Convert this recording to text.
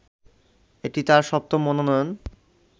এটি তার সপ্তম মনোনয়ন